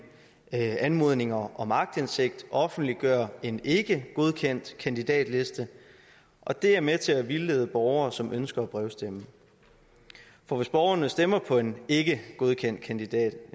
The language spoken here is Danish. anmodning om om aktindsigt offentliggør en ikkegodkendt kandidatliste og det er med til at vildlede borgere som ønsker at brevstemme for hvis borgerne stemmer på en ikkegodkendt kandidat